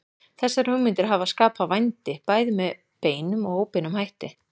Þessar hugmyndir hafa skapað vændi bæði með beinum og óbeinum hætti.